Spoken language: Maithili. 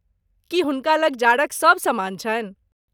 की हुनका लग जाड़क सब सामान छनि?